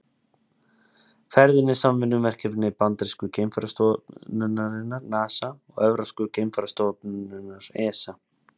Ferðin er samvinnuverkefni bandarísku geimferðastofnunarinnar NASA og evrópsku geimferðastofnunarinnar ESA.